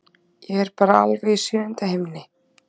Ég er bara alveg í sjöunda himni.